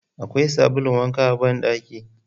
Akwai sabulun wanka a ban daki?.